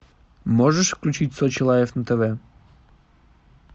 можешь включить сочи лайв на тв